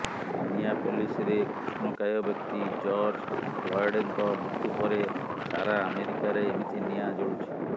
ମିନିଆପଲିସରେ କୃଷ୍ଣକାୟ ବ୍ୟକ୍ତି ଜର୍ଜ ଫ୍ଲଏଡଙ୍କ ମୃତ୍ୟୁ ପରେ ସାରା ଆମେରିକାରେ ଏମିତି ନିଆଁ ଜଳୁଛି